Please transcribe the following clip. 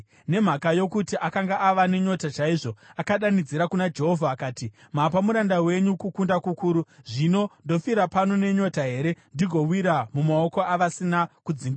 Nokuti akanga ava nenyota chaizvo, akadanidzira kuna Jehovha akati, “Mapa muranda wenyu kukunda kukuru. Zvino ndofira pano nenyota here ndigowira mumaoko avasina kudzingiswa?”